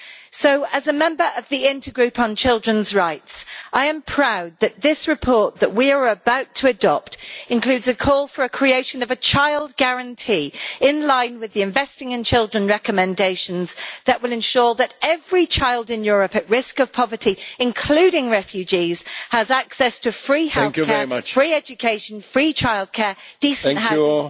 So, as a member of the Intergroup on Children's Rights, I am proud that the report we are about to adopt includes a call for the creation of a child guarantee, in line with the Investing in Children' recommendations, that will ensure that every child in Europe at risk of poverty including refugees has access to free healthcare, free education, free childcare, decent housing and adequate nutrition.